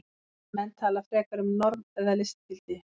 Menn tala frekar um form eða listgildi.